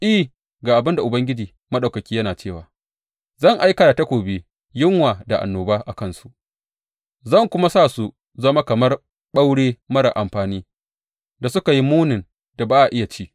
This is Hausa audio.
I, ga abin da Ubangiji Maɗaukaki yana cewa, Zan aika da takobi, yunwa da annoba a kansu zan kuma sa su zama kamar ɓaure marar amfani da suka yi munin da ba a iya ci.